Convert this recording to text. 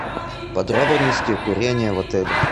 подробности курения в отеле